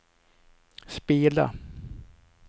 spela